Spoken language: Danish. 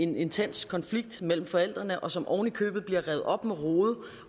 en intens konflikt med forældrene og som ovenikøbet bliver revet op med rode